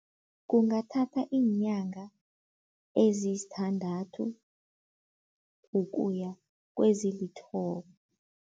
Kungathatha iinyanga eziyisithandathu ukuya kwezilithoba.